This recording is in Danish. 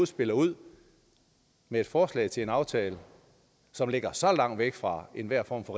spiller ud med et forslag til en aftale som ligger så langt væk fra enhver form for